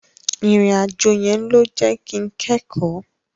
Ìrìn àjò yẹn ló jẹ́ kin kẹ́kọ̀ọ́.